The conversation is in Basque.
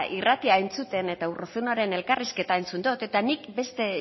irratia entzuten eta urruzunoren elkarrizketa entzun dot eta nik beste